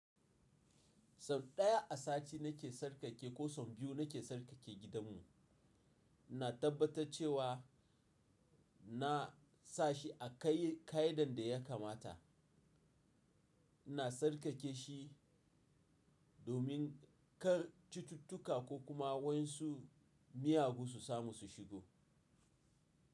“Son ɗaya a sati nake sarƙake ko saw biyu nake sarƙake gidanmu. Na tabbatar cewa na sa shi a kai ka idan da ya kamata. Na sarƙake shi domin kar cututtuka ko kuma wasu miyagu su samu su shigo.”